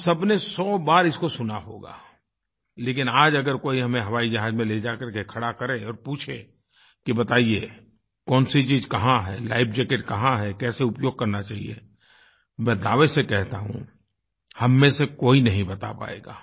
हम सब ने सौबार इसको सुना होगा लेकिन आज हमें कोई हवाई जहाज में ले जा करके खड़ा करे और पूछे कि बताइये कौन सी चीज़ कहाँ है लाइफ जैकेट कहाँ है कैसे उपयोग करना चाहिए मैं दावे से कहता हूँ हममें से कोई नहीं बता पायेगा